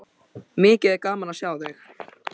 Mikið er gaman að sjá þig.